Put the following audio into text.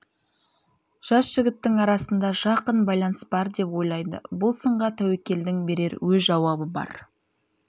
жас жігіттің арасында жақын байланыс бар деп ойлайды бұл сынға тәуекелдің берер өз жауабы бар